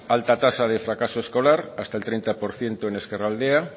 alta tasa de fracaso escolar hasta el treinta por ciento en ezkerraldea